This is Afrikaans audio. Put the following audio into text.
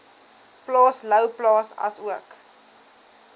plaas louwplaas asook